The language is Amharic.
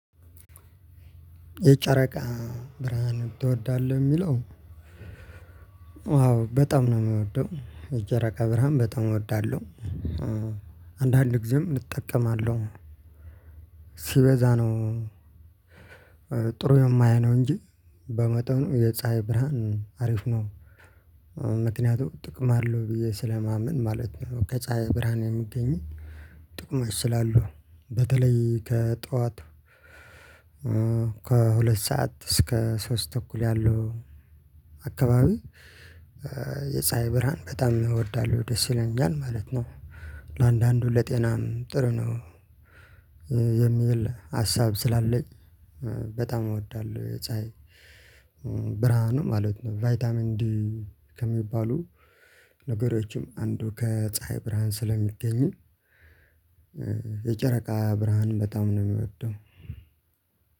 የጨረቃ ብርሃን ትወዳለህ የምለው? አዎ በጣም ነው ምወደው የጨረቃ ብርሃን በጣም እወዳለሁ። አንዳንድ ጊዜም እጠቀማለሁ። ሲበዛ ነው። ጥሩ የማይሆነው እንጂ በመጠኑ የፀሀይ ብርሃን አሪፍ ነው። ምክንያቱም ጥቅም አለው ብዬ ስለማምን ማለት ከፀሀይ ብርሃን የሚገኝ። ጥቅሞች ስላሉ በተለይ ከጠዋት ከሁለት ሰዓት እስከ ሶስት ተኩል ያለው አካባቢ። የፀሀይ ብርሃን በጣም ይወርዳሉ ደስ ይለኛል ማለት ነው። ለአንዳንዱ ለጤናም ጥሩ ነው። የሚል ሀሳብ ስላለኝ በጣም እወዳለሁ ፀሀይን። ብርሃኑን ማለት ነው። ቫይታሚን ዲ ከሚባሉ ነገሮችም አንዱ ከፀሀይ ብርሃን ስለሚገኙ። የጨረቃ ብርሃን በጣም ነው ምወደው።